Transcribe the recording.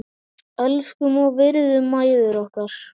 Elskum og virðum mæður okkar.